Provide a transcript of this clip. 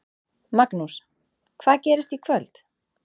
Magnús: Hvað gerist í kvöld?